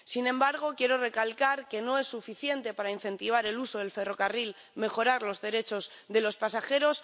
Sin embargo, quiero recalcar que no es suficiente para incentivar el uso del ferrocarril mejorar los derechos de los pasajeros.